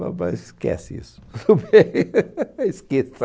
Boba esquece isso esqueça